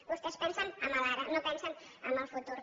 vostès pensen en l’ara no pensen en el futur